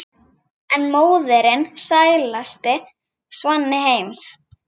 en móðirin sælasti svanni heims